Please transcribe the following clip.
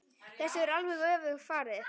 Þessu er alveg öfugt farið.